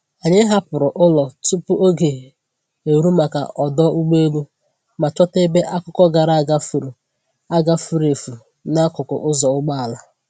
Anyị hapụrụ ụlọ tupu oge eru maka ọdụ ụgbọelu, ma chọta ebe akụkọ gara aga furu aga furu efu n’akụkụ ụzọ ụgbọala.